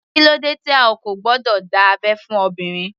Kílódé tí a kò gbọdọ̀ dá abẹ́ fún obìnrin.